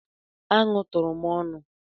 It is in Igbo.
Anụ tụrụ m ọnụ.